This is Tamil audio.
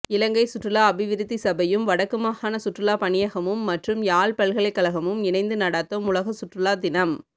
இலங்கை சுற்றுலா அபிவிருத்தி சபை யூம் வடக்குமாகாண சுற்றுலாபணியகமும் மற்றும் யாழ் பல்கலைக்கழகமும் இணைந்து நடாத்தும் உலகசுற்றுலாத் தினம்